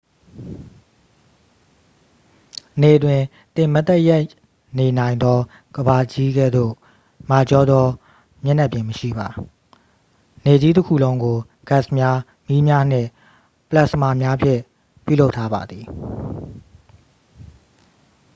နေတွင် သင်မတ်တပ်ရပ်နေနိုင်သော ကမ္ဘာကြီးကဲ့သို့ မာကျောသောမျက်နှာပြင်မရှိပါ နေကြီးတစ်ခုလုံးကို ဂတ်စ်များ မီးများနှင့် ပလက်စမာများဖြင့် ပြုလုပ်ထားပါသည်